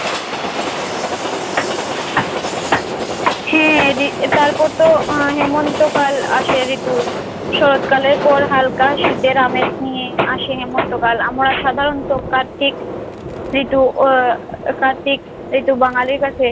হ্যাঁরে তারপরতো হেমন্তকাল আসে ঋতু। শরৎকালের পর হালকা শীতের আমেজ নিয়ে আসে হেমন্তকাল আমরা সাধারণত কার্তিক ঋতু উহ কার্তিক ঋতু বাঙালির কাছে